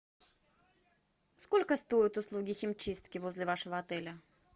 сколько стоят услуги химчистки возле вашего отеля